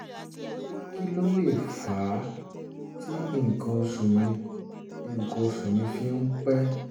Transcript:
kí um ló um lè fà á tí nǹkan oṣù mi nǹkan oṣù mi fi ń pẹ́?